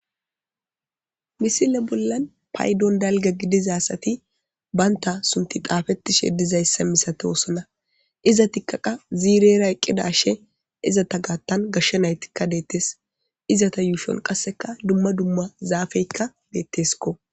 misile bollan paydon dalga gidizaasati baynta sunti xaafettishe dizayssa misate osona iza tikkaqa ziirera eqqidashe izata gaattan gashsha naytikka deettes izata yuushon qasseka dumma dumma zaafeykka deettesko